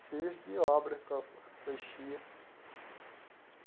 Serviço de obra que eu mexia.